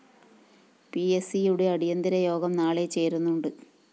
പിഎസ്‌സിയുടെ അടിയന്തിര യോഗം നാളെ ചേരുന്നുണ്ട്